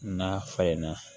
N'a falenna